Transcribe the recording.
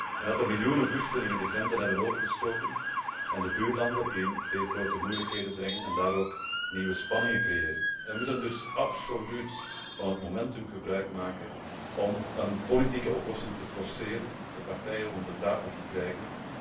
En dat er miljoenen vluchtelingen de grenzen zijn overgestoken en de buurlanden in zeer grote moeilijkheden brengen en daar ook nieuwe spanningen creëren. Wij moeten dus absoluut van het momentum gebruikmaken om een politieke oplossing te forceren, de partijen rond de tafel te krijgen.